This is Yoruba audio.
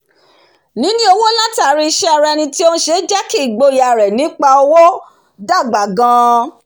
níní owó látàrí iṣé ara eni tí o n se jẹ́ kí igboyà rẹ̀ nípa owó dàgbà gan-an